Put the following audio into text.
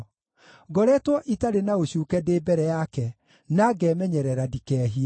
Ngoretwo itarĩ na ũcuuke ndĩ mbere yake, na ngemenyerera ndikehie.